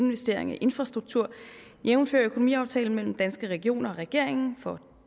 investeringer i infrastruktur jævnfør økonomiaftalen mellem danske regioner og regeringen for